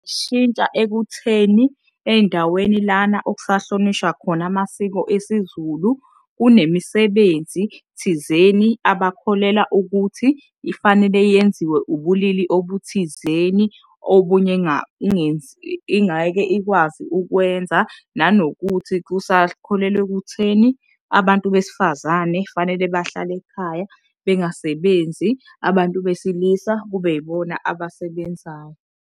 ekutheni ey'ndaweni lana ekusahlonishwa khona amasiko esiZulu kunemisibenzi thizeni abakholelwa ukuthi ifanele yenziwe ubulili obuthizeni, obunye ingeke ikwazi ukwenza. Nanokuthi kusakholelwa ekutheni abantu besifazane fanele bahlale ekhaya bengasebenzi abantu besilisa kube yibona abasebenzayo.